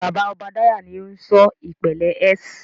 Bàbá Obadiah ni o n ṣọ ìpele S.